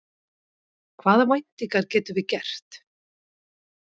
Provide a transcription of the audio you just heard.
Hvaða væntingar getum við gert?